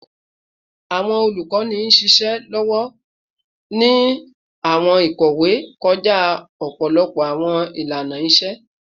Awọn olukọni n ṣiṣẹ lọwọ ni jiṣẹ awọn ikowe kọja ọpọlọpọ awọn ilana-iṣe